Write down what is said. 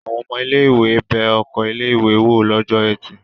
Àwọn ọmọ ilé-ìwé bẹ oko ilé-ìwé wò lọ́jọ́ ẹtì.